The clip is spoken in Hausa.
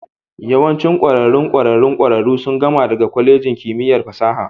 Yawancin ƙwararrun ƙwararrun ƙwararru sun gama daga kwalejin kimiyyar fasaha